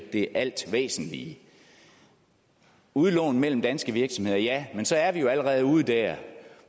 det alt væsentlige udlån mellem danske virksomheder ja men så er vi jo allerede ude der